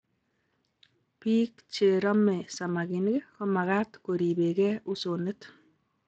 Biik che romei samakinik komakat koribegee usonet